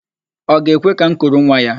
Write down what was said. Ọ ga-ekwe ka m kuru nwa ya?